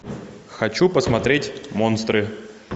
хочу посмотреть монстры